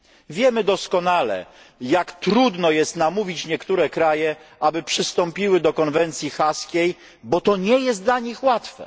Wiemy doskonale, jak trudno jest namówić niektóre kraje, aby przystąpiły do Konwencji Haskiej, bo to nie jest dla nich łatwe.